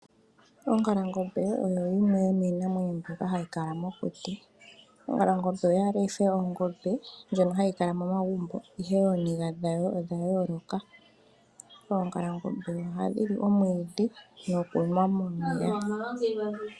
Ongalangobe oyo yimwe yo miinamwenyo mbyoka hayi kala mokuti, ongalangobe oyaale yife ongobe ndjono hayi kala momagumbo ihe ooniga dhawo odha yooloka, oongalangobe oha dhili omwiidhi nokunwa momeya.